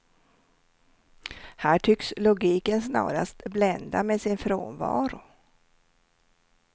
Här tycks logiken snarast blända med sin frånvaro.